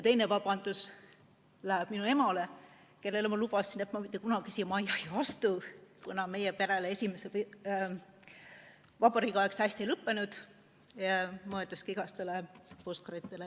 Teine vabandus läheb minu emale, kellele ma lubasin, et ma mitte kunagi siia majja ei astu, kuna meie perele esimese vabariigi aeg hästi ei lõppenud.